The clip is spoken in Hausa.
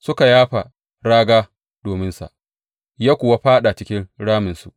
Suka yafa raga dominsa ya kuwa fāɗa cikin raminsu.